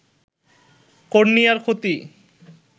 কর্নিয়ার ক্ষতি